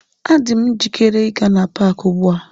Adị m njikere ịga n'paaki ugbu a.